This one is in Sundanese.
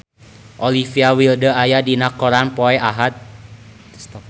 Olivia Wilde aya dina koran poe Ahad